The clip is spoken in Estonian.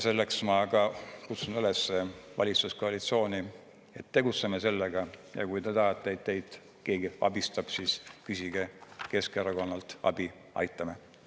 Selleks ma kutsun üles valitsuskoalitsiooni, et tegutseme sellega ja kui te tahate, et teid keegi abistab, küsige Keskerakonnalt abi, aitame.